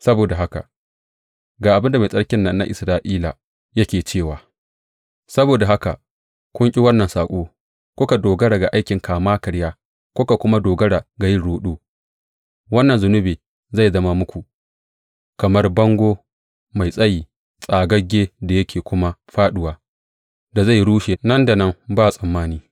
Saboda haka, ga abin da Mai Tsarkin nan na Isra’ila yake cewa, Saboda haka kun ƙi wannan saƙo, kuka dogara ga aikin kama karya kuka kuma dogara ga yin ruɗu, wannan zunubi zai zama muku kamar bango mai tsayi, tsagagge da yake kuma fāɗuwa, da zai rushe nan da nan, ba tsammani.